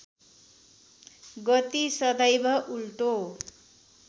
गति सदैव उल्टो